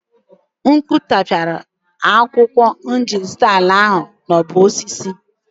Mkpu tapiara akwụkwọ m jiri zụta ala ahụ nọ n'ọgbọ osisi.